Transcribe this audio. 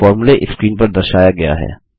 फॉर्मूले स्क्रीन पर दर्शाया गया है